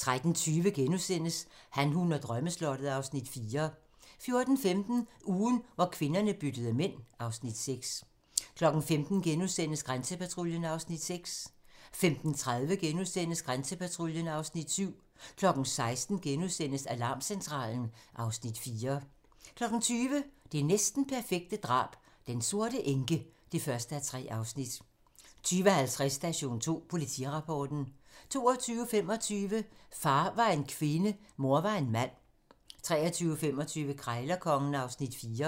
13:20: Han, hun og drømmeslottet (Afs. 4)* 14:15: Ugen, hvor kvinderne byttede mænd (Afs. 6) 15:00: Grænsepatruljen (Afs. 6)* 15:30: Grænsepatruljen (Afs. 7)* 16:00: Alarmcentralen (Afs. 4)* 20:00: Det næsten perfekte drab - Den sorte enke (1:3) 20:50: Station 2: Politirapporten 22:25: Far var en kvinde, mor var en mand 23:25: Krejlerkongen (Afs. 4)